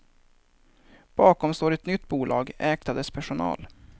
Bakom står ett nytt bolag ägt av dess personal.